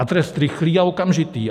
A trest rychlý a okamžitý.